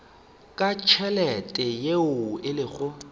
ka tšhelete yeo e lego